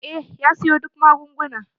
Eh ya siyo duk magunguna.